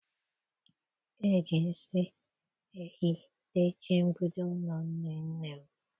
Eji nsị ehi techie mgbidi ụlọ nne nne m.